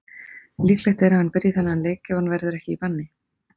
Líklegt er að hann byrji þann leik ef hann verður ekki í banni.